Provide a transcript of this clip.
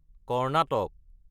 Karnataka